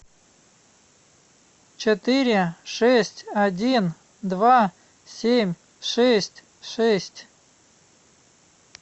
четыре шесть один два семь шесть шесть